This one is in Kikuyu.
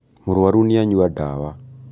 Mũrwaru nĩ anyua ndawa